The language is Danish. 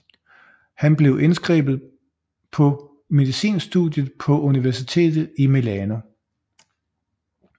Han blev indskrevet på medicinstudiet på universitetet i Milano